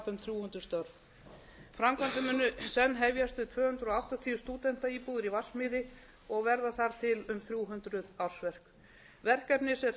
störf framkvæmdir munu senn hefjast við tvö hundruð áttatíu stúdentaíbúðir í vatnsmýri og verða þar til um þrjú hundruð ársverk verkefni sem hrint var af